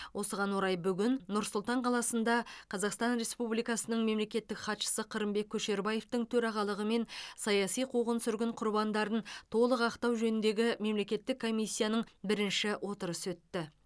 осыған орай бүгін нұр сұлтан қаласында қазақстан республикасының мемлекеттік хатшысы қырымбек көшербаевтың төрағалығымен саяси қуғын сүргін құрбандарын толық ақтау жөніндегі мемлекеттік комиссияның бірінші отырысы өтті